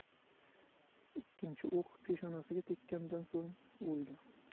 Ikkinchi o‘q peshonasiga tekkandan so‘ng, o‘lgan.